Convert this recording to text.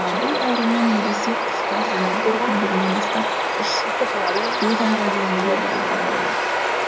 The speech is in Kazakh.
бұл аурумен ересек құстар және бір күндігінен бастап үш төрт айға дейінгі балалар ауырады